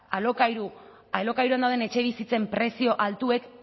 alokairuan dauden etxebizitzen prezio altuek